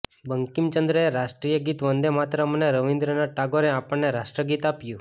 બંકિમચંદ્રએ રાષ્ટ્રીય ગીત વંદે માતરમ અને રવીન્ર્રનાથ ટાગોરે આપણને રાષ્ટ્રગીત આપ્યું